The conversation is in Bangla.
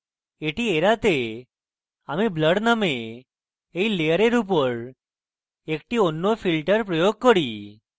এটি এড়াতে আমি blur নামক এই layer উপর একটি and filter প্রয়োগ করি